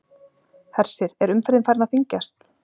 Hersir, er umferðin farin að þyngjast?